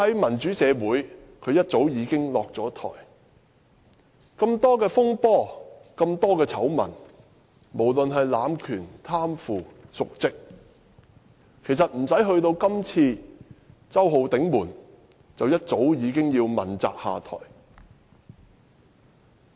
梁振英涉及那麼多風波、醜聞，無論是濫權、貪腐、瀆職，其實不用等到這次"周浩鼎門"，便一早已經要問責下台。